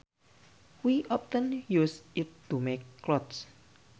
We often use it to make clothes